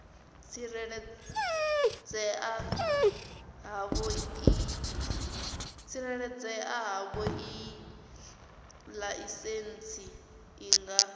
tsireledzea havhoiyi laisentsi i nga